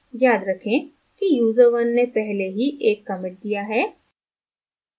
याद रखें कि user1 ने पहले ही एक commit दिया है